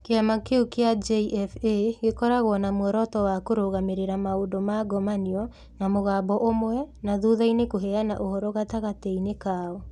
Kĩama kĩu kĩa JFA gĩkoragwo na muoroto wa kũrũgamĩrĩra maũndũ ma ngomanio na mũgambo ũmwe na thutha-inĩ kũheana ũhoro gatagatĩ-inĩ kao.